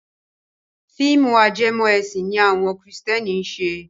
Fíìmù ajẹmọ ẹ̀sìn ni àwọn kìrìsìtẹ́nì ń ṣe.